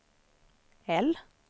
L